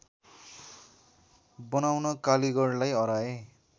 बनाउन कालीगढलाई अह्राए